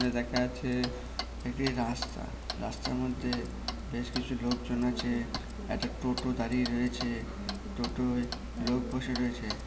এখানে দেখা যাচ্ছে একটি রাস্তা। রাস্তার মধ্যে বেশ কিছু লোকজন আছে। একটা টোটা দাঁড়িয়ে রয়েছে। টোটোইয় লোক বসে রয়েছে।